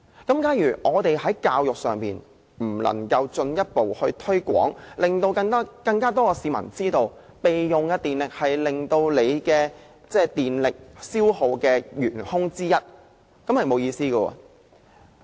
假如我們未能做好公眾教育，令更多市民知道備用狀態是電力消耗的原兇之一，便沒有意義。